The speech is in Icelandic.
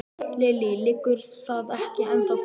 Lillý: Liggur það ekki ennþá fyrir?